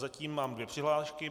Zatím mám dvě přihlášky.